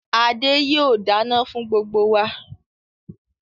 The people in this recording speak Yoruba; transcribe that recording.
Adé yìí ó dáná fún gbogbo wá